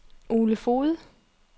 Ole Foged